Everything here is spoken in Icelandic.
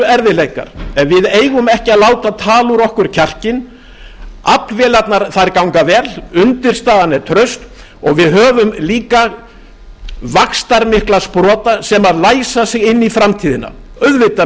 erfiðleikar en við eigum ekki að láta tala úr okkur kjarkinn aflvélarnar ganga vel undirstaðan er traust og við höfum líka vaxtarmikla skipta sem læsa sig inn í framtíðina auðvitað munum við